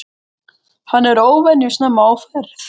Hann er óvenju snemma á ferð.